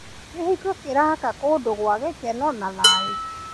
Kĩhiko kĩraka kũndũ gwa gĩkeno na thayũ.